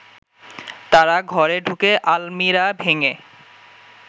তারা ঘরে ঢুকে আলমিরা ভেঙে